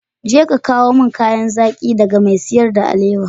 Je ka samo min kayan zaki daga mai siyar da alewa.